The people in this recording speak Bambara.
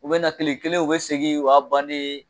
U bɛna na tile kelen u bɛ segin o y'a bannen ye